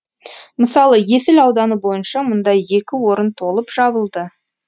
мысалы есіл ауданы бойынша мұндай екі орын толып жабылды